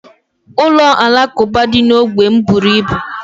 Ụlọ alakuba dị na ógbè m bụrụ ibu